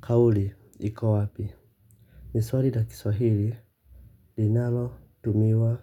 Kauli ikowapi. Ni swali la kiswahili linalo tumiwa